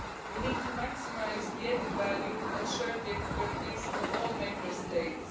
We need to maximise the added value and shared the expertise of all Member States.